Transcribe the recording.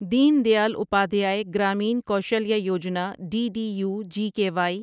then Dayal Upadhyaya Grameen Kaushalya Yojana D D U G K Y